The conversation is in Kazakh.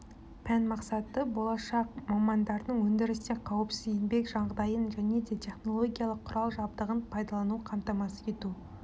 пән мақсаты болашақ мамандардың өндірісте қауіпсіз еңбек жағдайын және де технологиялық құрал жабдығын пайдалану қамтамасыз ету